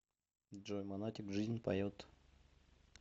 джой монатик жизнь поет